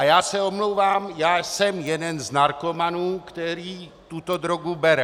A já se omlouvám, já jsem jeden z narkomanů, který tuto drogu bere.